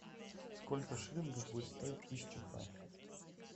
сколько шиллингов будет стоить тысяча франков